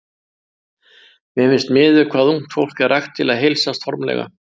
Mér finnst miður hvað ungt fólk er ragt við að heilsast formlega.